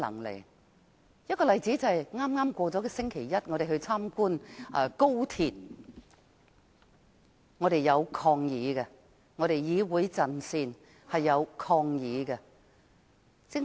舉例來說，在剛剛過去的星期一，我們參觀了高鐵，而我們議會陣線當時採取了抗議行動。